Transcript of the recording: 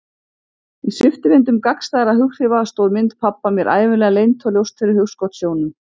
Í sviptivindum gagnstæðra hughrifa stóð mynd pabba mér ævinlega leynt og ljóst fyrir hugskotssjónum.